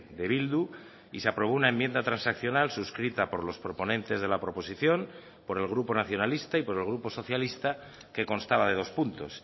de bildu y se aprobó una enmienda transaccional suscrita por los proponentes de la proposición por el grupo nacionalista y por el grupo socialista que constaba de dos puntos